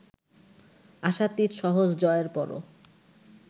আশাতীত সহজ জয়ের পরও